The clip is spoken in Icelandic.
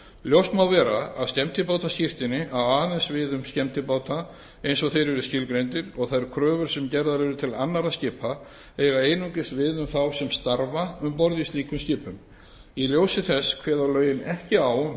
ljóst má vera að skemmtibátaskírteini á aðeins við um skemmtibáta eins og þeir eru skilgreindir og þær kröfur sem gerðar eru til annarra skipa eiga einungis við um þá sem starfa um borð á slíkum skipum í ljósi þess kveða lögin ekki á um